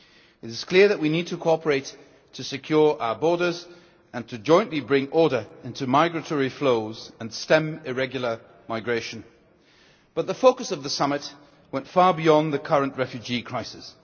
It is clear that we need to cooperate to secure our borders, jointly to bring order into migratory flows, and to stem irregular migration. But the focus of the summit went far beyond the current refugee crisis.